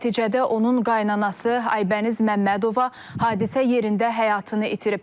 Nəticədə onun qaynanası Aybəniz Məmmədova hadisə yerində həyatını itirib.